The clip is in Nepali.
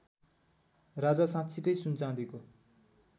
राजा साँच्चिकै सुनचाँदीको